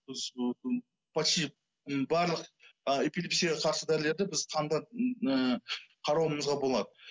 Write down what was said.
біз почти барлық ы эпилепсияға қарсы дәрілерді біз қанда ы қарауымызға болады